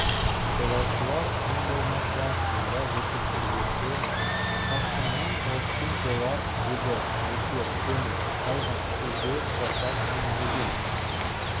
жолаушылар ең болмаса сонда жетіп үлгірсе тасқыннан қауіпсіз болар еді нөсер төніп қалған кезде жасақ меңзеген